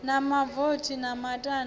na mavothi na matanda na